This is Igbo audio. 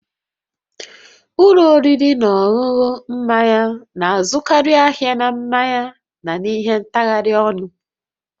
Ụlọ oriri na ọṅụṅụ mmanya na-azụkarị ahịa na mmanya na ihe ntagharị ọnụ